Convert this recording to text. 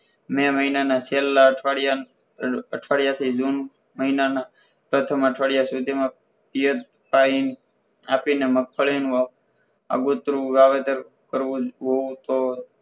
મે મહિનાના છેલ્લા અઠવાડિયા અઠવાડિયાથી જુન મહિનાના પ્રથમ અઠવાડિયા સુધીમાં એ જ time આપીને મગફળીનું આગોતરું વાવેતર કરવું હોય તો